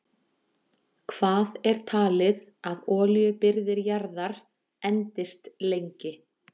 Hvað er talið að olíubirgðir jarðar endist lengi?